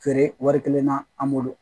Feere wari kelen na an bolo